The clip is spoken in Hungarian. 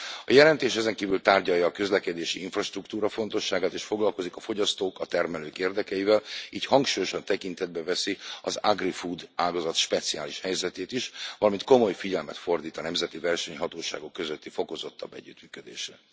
A jelentés ezenkívül tárgyalja a közlekedési infrastruktúra fontosságát, és foglalkozik a fogyasztók, a termelők érdekeivel, így hangsúlyosan tekintetbe veszi az agri food ágazat speciális helyzetét is, valamint komoly figyelmet fordít a nemzeti versenyhatóságok közötti fokozottabb együttműködésre.